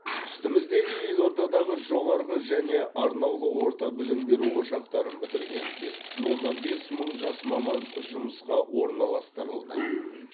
үстіміздегі елордадағы жоғарғы және арнаулы орта білім беру ошақтарын бітірген бес бүтін оннан бес мың жас маман жұмысқа орналастырылды